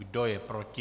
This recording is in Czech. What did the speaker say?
Kdo je proti?